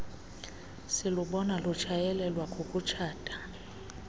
silubona lutshayeleelwa kukutshata